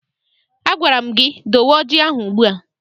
Agwara m gị dowe ọjị ahụ ugbu a!